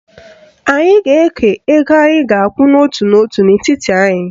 Anyị ga-eke ego anyị ga-akwụ n'otu n'otu n'etiti anyị